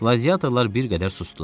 Qladiatorlar bir qədər susdular.